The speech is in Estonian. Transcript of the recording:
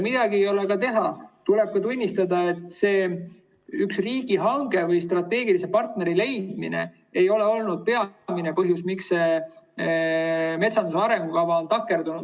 Midagi ei ole teha, tuleb tunnistada, et see üks riigihange või strateegilise partneri leidmine ei ole olnud peamine põhjus, miks metsanduse arengukava on takerdunud.